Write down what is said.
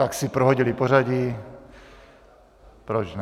Tak si prohodili pořadí, proč ne.